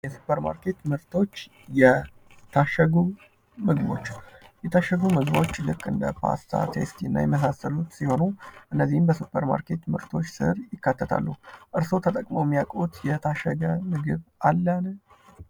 የሱፐር ማርኬት ምርቶች ። የታሸጉ ምግቦች ፡ የታሸጉ ምግቦች ልክ እንደ ፖስታ ቴስቲ እና የመሳሰሉት ሲሆኑ እነዚህም በሱፐር ማርኬት ምርቶች ስር ይካተታሉ ። እርስዎ ተጠቅመው ሚያውቁት የታሸገ ምግብ አለን?